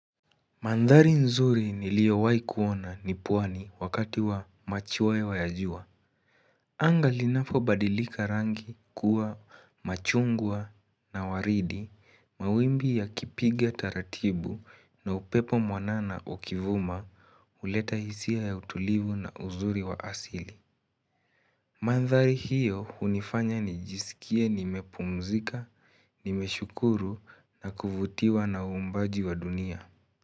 Mandhari nzuri niliowahi kuona ni pwani wakati wa machweo ya jua. Anga linapobadilika rangi kuwa machungwa na waridi, mawimbi yakipiga taratibu na upepo mwanana ukivuma huleta hisia ya utulivu na uzuri wa asili. Mandhari hiyo hunifanya nijisikie nimepumzika, nimeshukuru na kuvutiwa na uumbaji wa dunia.